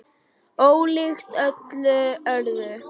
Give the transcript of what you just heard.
Ólíkt öllu öðru.